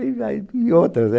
E aí. E outras, né?